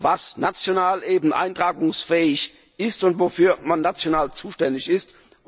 was national eben eintragungsfähig ist und wofür man national zuständig ist.